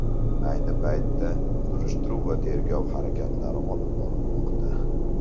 Ayni paytda surishtiruv va tergov harakatlari olib borilmoqda.